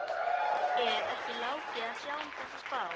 Er ekki Láki að sjá um þessa spá?